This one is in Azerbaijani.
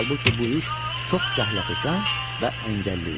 Halbuki bu iş çox zəhlətökən və əngəlli idi.